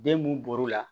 Den mun bɔr'u la